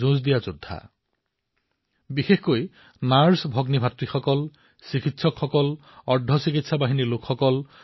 এওঁলোক হল বিশেষকৈ আমাৰ নাৰ্ছ ভাতৃভগ্নীসকল চিকিৎসকসকল পেৰামেডিকেল কৰ্মীসকল